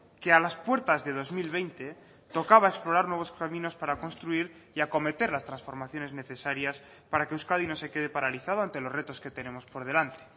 que a las puertas de dos mil veinte tocaba explorar nuevos caminos para construir y acometer las transformaciones necesarias para que euskadi no se quede paralizado ante los retos que tenemos por delante